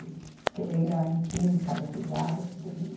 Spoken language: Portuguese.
Beleza. Porque ele ainda imprime carga pesada, tudo ali, né.